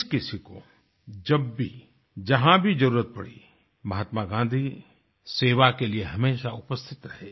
जिस किसी को जब भी जहाँ भी जरुरत पड़ी महात्मा गाँधी सेवा के लिए हमेशा उपस्थित रहे